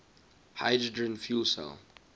hydrogen fuel cell